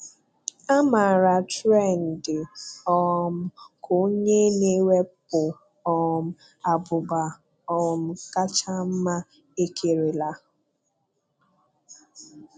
A maara Tren dị um ka onye na-ewepụ um abụba um kacha mma e kerela.